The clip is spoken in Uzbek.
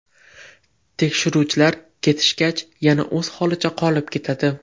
Tekshiruvchilar ketishgach, yana o‘z holicha qolib ketadi.